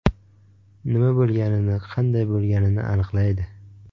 Nima bo‘lganini, qanday bo‘lganini aniqlaydi.